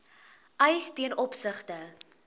eis ten opsigte